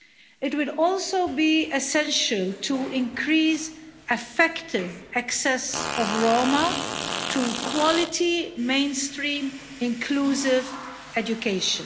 It would also be essential to increase effective access of Roma to quality, mainstream, inclusive education